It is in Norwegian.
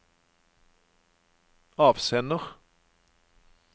avsender